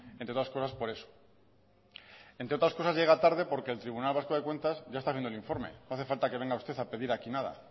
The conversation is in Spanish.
entre otras cosas por eso entre otras cosas llega tarde porque el tribunal vasco de cuentas ya está haciendo el informe no hace falta que venga usted a pedir aquí nada